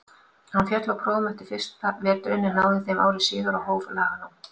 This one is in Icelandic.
Hann féll á prófum eftir fyrsta veturinn en náði þeim ári síðar og hóf laganám.